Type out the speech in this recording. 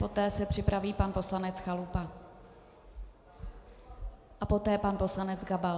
Poté se připraví pan poslanec Chalupa a poté pan poslanec Gabal.